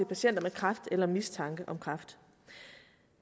patienter med kræft eller mistanke om kræft